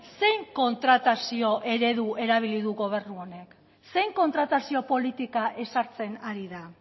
ze kontratazio eredu erabili du gobernu honek zein kontratazio politika ezartzen ari da